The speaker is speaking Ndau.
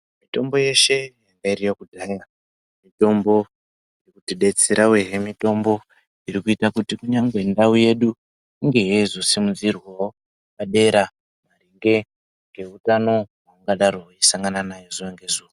Mitombo yeshe yairyiwa kudhaya mitombo inotidetsera uyehe mutombo iri kuita kuti kunyangwe ndau yedu inge yeizosimudzirwawo padera maringe ngeutano hungadaro weisangananayo zuwa ngezuwa.